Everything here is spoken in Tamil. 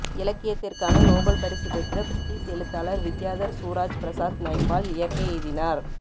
இலக்கியத்திற்கான நோபல் பரிசு பெற்ற பிரிட்டிஷ் எழுத்தாளர் வித்யாதர் சூராஜ்பிரசாத் நைப்பால் இயற்கை எய்தினார்